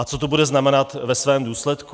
A co to bude znamenat ve svém důsledku?